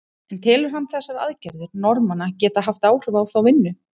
En telur hann þessar aðgerðir Norðmanna geta haft áhrif á þá vinnu?